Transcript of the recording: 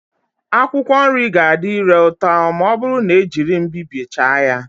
Akwụkwọ nri ga-adị ire ụtọ ma ọ bụrụ na ejiri mbibie chaa ya